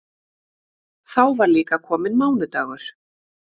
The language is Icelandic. Þá var líka kominn mánudagur.